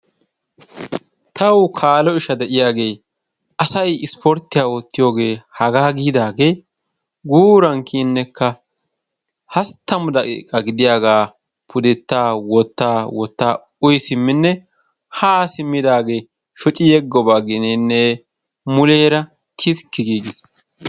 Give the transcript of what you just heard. Tawu kaalo isha de"iyage asayi ispporttiyiya oottiyoge hagaa giidaage guuran kiyinnekka hasttamu daqiiqa gidiyagaa pudettaa wottaa wottaa uyi simminne haa simminne shoci yegoba gidinne muleera tiskki giigis.